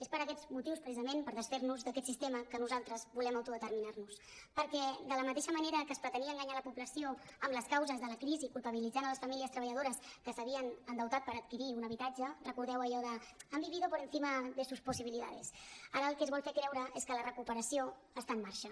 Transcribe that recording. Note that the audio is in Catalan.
és per aquests motius precisament per desfer·nos d’aquest sistema que nosaltres volem autodeterminar·nos perquè de la mateixa manera que es pretenia enganyar la població amb les causes de la crisi culpabilitzant les famílies treballadores que s’ha·vien endeutat per adquirir un habitatge recordeu allò de han vivido por encima de sus posibilidades ara el que es vol fer creure és que la recuperació està en marxa